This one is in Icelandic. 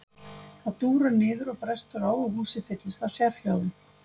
Það dúrar niður og brestur á og húsið fyllist af sérhljóðum.